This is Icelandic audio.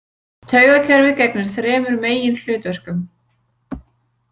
Taugakerfið gegnir þremur meginhlutverkum.